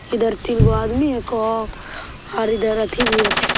इधर तीनगो आदमी हेको आ और इधर अथी भी हेको।